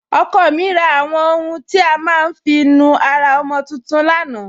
Ọkọ mi rà àwọn ọ̀hùn tí a má n fi nú ara ọmọ tuntun lánà.